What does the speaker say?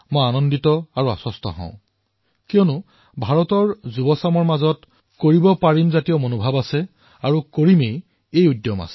আনন্দিত আৰু আশ্বস্ত এইবাবেই কিয়নো মোৰ দেশৰ যুৱচামৰ হৃদয়ত কৰিব পাৰোৰ ভাৱনা বিদ্যমান আছে আৰু কৰিমেইৰ সত্বাও বিদ্যমান আছে